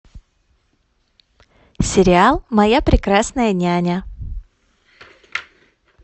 сериал моя прекрасная няня